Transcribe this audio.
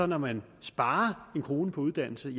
når man sparer en kroner på uddannelse